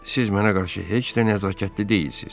Siz mənə qarşı heç də nəzakətli deyilsiz.